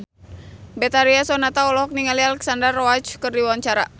Betharia Sonata olohok ningali Alexandra Roach keur diwawancara